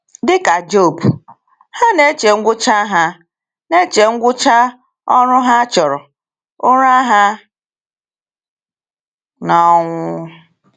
“Dịka Job, ha na-eche ngwụcha ha na-eche ngwụcha ‘ọrụ ha a chọrọ,’ ụra ha n’ọnwụ.”